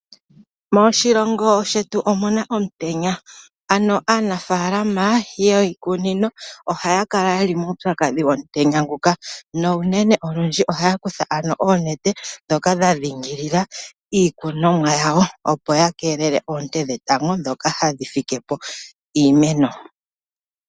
Moshilongo shetu omuna omutenya, ano aanafaalama yiikunino ohaya kala ye li muupyakadhi womutenya nguka ,na unene olundji ohaya kutha oonete dhoka dha dhingilila iikunomwa yawo opo yakelele oonte dhetango dhoka hadhi fike po iimeno.